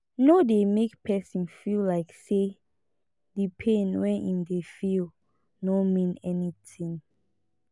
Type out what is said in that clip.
no dey make person feel like say di pain wey im dey feel no mean anything